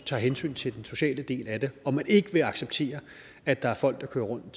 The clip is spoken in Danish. tager hensyn til den sociale del af det og man ikke vil acceptere at der er folk der kører rundt